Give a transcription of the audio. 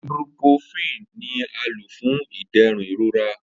Ibuprofen ni a lo fun iderun irora.